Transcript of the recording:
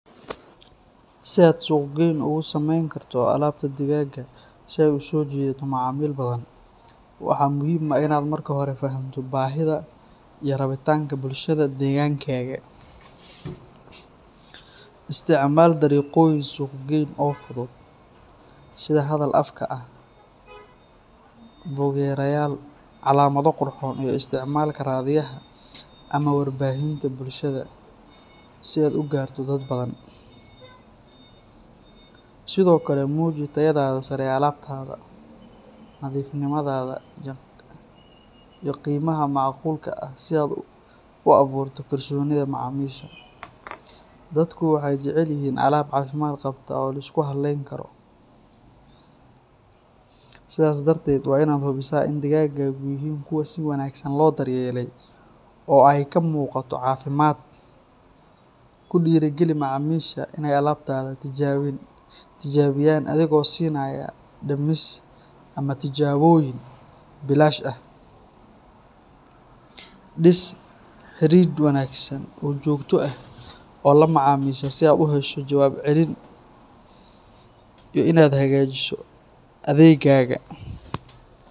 Si aad suuqgeyn ugu samayn karto alaabta digaagga si ay u soo jiidato macaamiil badan, waxa muhiim ah inaad marka hore fahamto baahida iyo rabitaanka bulshada deegaankaaga. Isticmaal dariiqooyin suuqgeyn oo fudud sida hadal afka ah, buug-yareyaal, calaamado qurxoon, iyo isticmaalka raadiyaha ama warbaahinta bulshada si aad u gaarto dad badan. Sidoo kale, muuji tayada sare ee alaabtaada, nadiifnimada, iyo qiimaha macquulka ah si aad u abuurto kalsoonida macaamiisha. Dadku waxay jecel yihiin alaab caafimaad qabta oo la isku halleyn karo, sidaas darteed waa inaad hubisaa in digaaggaagu yihiin kuwo si wanaagsan loo daryeelay oo ay ka muuqato caafimaad. Ku dhiiri geli macaamiisha in ay alaabtaada tijaabiyaan adigoo siinaya dhimis ama tijaabooyin bilaash ah. Dhis xidhiidh wanaagsan oo joogto ah oo la macaamiisha si aad u hesho jawaab celin iyo in aad hagaajiso adeeggaaga